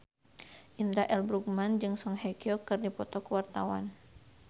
Indra L. Bruggman jeung Song Hye Kyo keur dipoto ku wartawan